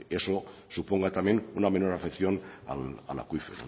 eso suponga también una menor afección al acuífero